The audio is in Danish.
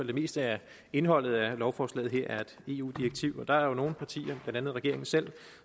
det meste af indholdet af lovforslaget her et eu direktiv der er jo nogle partier blandt andet regeringen selv